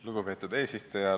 Lugupeetud eesistuja!